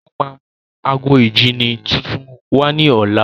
Ó máa mú ago ìjíni tuntun wá ní ọ̀la.